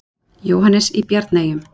Jóhannes í Bjarneyjum.